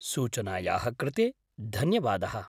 सूचनायाः कृते धन्यवादः।